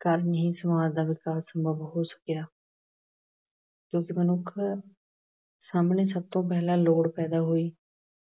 ਕਾਰਨ ਹੀ ਸਮਾਜ ਦਾ ਵਿਕਾਸ ਸੰਭਵ ਹੋ ਸਕਿਆ। ਕਿਉਂਕਿ ਮਨੁੱਖ ਸਾਹਮਣੇ ਸਭ ਤੋਂ ਪਹਿਲਾਂ ਲੋੜ ਪੈਦਾ ਹੋਈ।